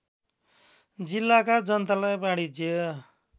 जिल्लाका जनतालाई वाणिज्य